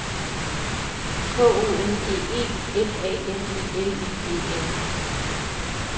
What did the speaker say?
K O N G E F A M I L I E N